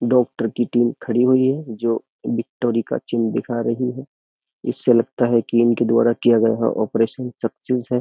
Doctor की team खड़ी हुई है जो विक्टोरी का चिन्ह दिखा रही है इससे लगता है कि इनके द्वारा किया गया ऑपरेशन सक्सेस है।